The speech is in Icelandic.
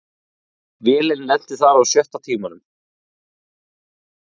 Vélin lenti þar á sjötta tímanum